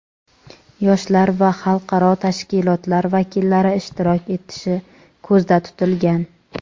yoshlar va xalqaro tashkilotlar vakillari ishtirok etishi ko‘zda tutilgan.